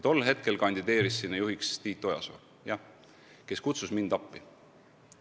Tol aastal kandideeris sinna juhiks Tiit Ojasoo, kes kutsus mind appi.